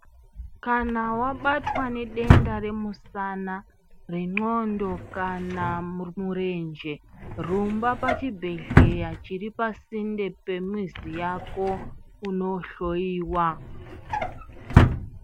Kana wabatwa nedenda remusana , renxlondo kana murenje rumba pachibhehleya chiri pasinde pemizi yako unohloyiwa.